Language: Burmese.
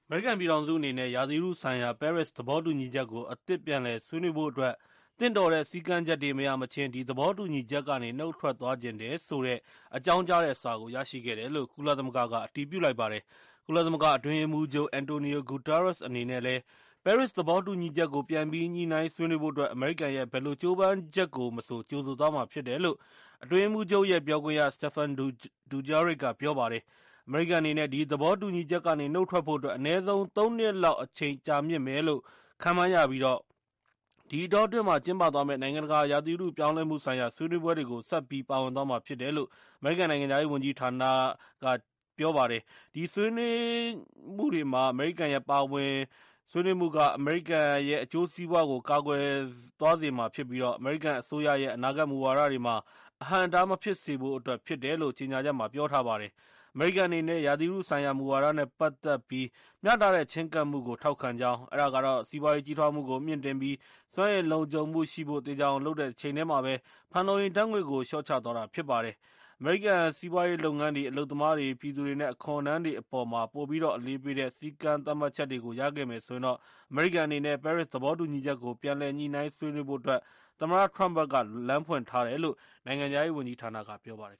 မေရိကန်ပြည်ထောင်စုအနေနဲ့ ရာသီဥတုဆိုင်ရာ ပဲရစ်သဘောတူညီချက်ကို အသစ်ပြန်လည်ဆွေးနွေးဖို့အတွက် သင့်တော်တဲ့ စည်းကမ်းချက်တွေ မရမချင်း၊ ဒီသဘောတူညီချက်ကနေ နှုတ်ထွက်သွားချင်တယ်ဆိုတာနဲ့ ပတ်သက်တဲ့ အကြောင်းကြားတဲ့စာကို ရရှိခဲ့တယ်လို့ ကုလသမဂ္ဂက အတည်ပြုလိုက်ပါတယ်။ ကုလသမဂ္ဂအတွင်းရေးမှူးချုပ် Antonio Guterres အနေနဲ့လည်း - ပဲရစ်သဘောတူညီချက်ကို ပြန်ပြီး စေ့စပ်ဆွေးနွေးဖို့အတွက် အမေရိကန်ရဲ့ကြိုးပမ်းချက်ကို ကြိုဆိုသွားမှာဖြစ်တယ်လို့ အတွင်းရေးမှူးချုပ်ရဲ့ ပြောခွင့်ရ Stephane Dujurric က ပြောလိုက်ပါတယ်။ အမေရိကန်အနေနဲ့ ဒီသဘောတူညီချက်ကနေ နှုတ်ထွက်ဖို့အတွက် အနည်းဆုံး ၃ နှစ်လောက်အချိန်ကြာမြှင့်မယ်လို့ ခန့်မှန်းရပြီး၊ ဒီအတောအတွင်း ကျင်းပသွားမယ့် နိုင်ငံတကာရာသီဥတုပြောင်းလဲမှုဆိုင်ရာ ဆွေးနွေးပွဲတွေကို ဆက်ပြီးပါဝင်သွားမှာဖြစ်တယ်လို့ အမေရိကန်နိုင်ငံခြားရေး ဝန်ကြီးဌာနကပြောပါတယ်။ ဒီညှိနှိုင်းဆွေးနွေးမှုတွေမှာ အမေရိကန်ရဲ့ ပါဝင်ဆွေးနွေးမှု အမေရိကန်ရဲ့ အကျိုးစီးပွားတွေကို ကာကွယ်သွားစေမှာဖြစ်ပြီး၊ အမေရိကန်အစိုးရရဲ့ အနာဂတ်မူဝါဒတွေမှာ အဟန့်အတားမဖြစ်စေဖို့အတွက် ဖြစ်တယ်လို့ ကြေငြာချက်ထဲမှာ ပြောထားပါတယ်။ အမေရိကန်အနေနဲ့ ရာသီဥတုဆိုင်ရာမူဝါဒနဲ့ ပတ်သက်ပြီး မျှတတဲ့ချဉ်းကပ်မှုကို ထောက်ခံကြောင်း၊ အဲဒါကတော့ စီးပွားရေးကြီးထွားမှုကို မြင့်တင်ပြီး စွမ်းအင်လုံခြုံမှုရှိဖို့ သေချာအောင်လုပ်နေတဲ့တချိန်တည်းမှာပဲ၊ ဖန်လုံအိမ်ဓါတ်ငွေ့ကို လျှော့ချသွားတာဖြစ်ပါတယ်။ အမေရိကန်စီးပွားရေးလုပ်ငန်းတွေ၊ အလုပ်သမားတွေ ၊ ပြည်သူတွေနဲ့ အခွန်ထမ်းတွေအပေါ်မှာ ပိုပြီး အလေးပေးတဲ့ စည်းကမ်းသတ်မှတ်ချက်တွေကို ရခဲ့မယ်ဆိုရင် အမေရိကန်အနေနဲ့ ပဲရစ်သဘောတူညီချက်ကို ပြန်လည်ညှိနှိုင်းဆွေးနွေးဖို့ အတွက် သမ္မတထရမ့်က လမ်းဖွင့်ထားတယ်လို့ နိုင်ငံခြားရေးဝန်ကြီးဌာနက ပြောပါတယ်